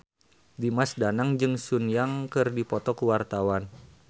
Dimas Danang jeung Sun Yang keur dipoto ku wartawan